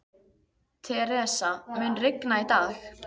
Theresa, mun rigna í dag?